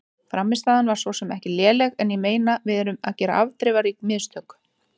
Frammistaðan var svo sem ekki léleg en ég meina við erum að gera afdrifarík mistök.